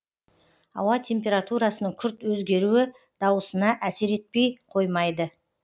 ауа температурасының күрт өзгеруі даусына әсер етпей қоймайды